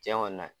Tiɲɛ kɔni na